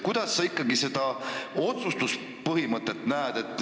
Kuidas sa ikkagi näed seda otsustuspõhimõtet?